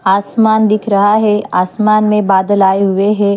आसमान दिख रहा है आसमान में बादल आए हुए हैं।